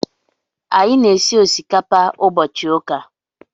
Anyị na-esi osikapa ụbọchị ụka.